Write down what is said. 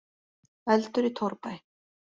Eldur í torfbæ